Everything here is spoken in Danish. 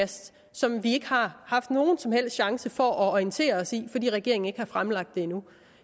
som vi ikke har haft nogen som helst chance for at orientere os i fordi regeringen ikke har fremsat det endnu